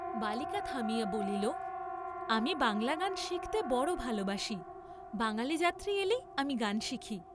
বালিকা থামিয়া বলিল আমি বাঙ্গলা গান শিখতে বড় ভালবাসি, বাঙ্গালী যাত্রী এলেই আমি গান শিখি।